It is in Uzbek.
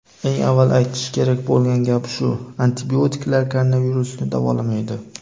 Eng avval aytish kerak bo‘lgan gap shu: antibiotiklar koronavirusni davolamaydi.